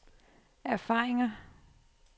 erfaringer